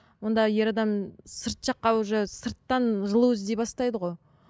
онда ер адам сырт жаққа уже сырттан жылу іздей бастайды ғой